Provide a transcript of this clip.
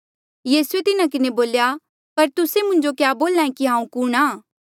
यीसूए तिन्हा किन्हें बोल्या पर तुस्से मुंजो क्या बोल्हा ऐें की हांऊँ कुणहां